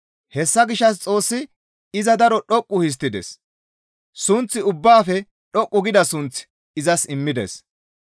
Hessa gishshas Xoossi iza daro dhoqqu histtides; sunth ubbaafe dhoqqu gida sunth izas immides.